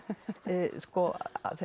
sko